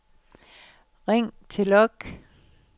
ring til log